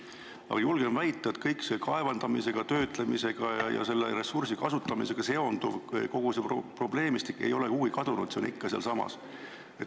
Ma julgen väita, et kogu see probleemistik – kõik see kaevandamisega, töötlemisega ja ressursi kasutamisega seonduv – ei ole kuhugi kadunud, see on ikka alles.